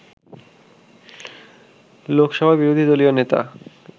লোকসভার বিরোধী দলীয় নেতা